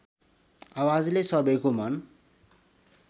आवाजले सबैको मन